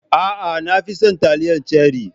A'a, na fi son taliyar ceri.